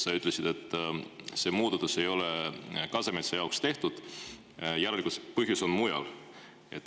Sa ütlesid, et see muudatus ei ole Kasemetsa jaoks tehtud, järelikult põhjus on mujal.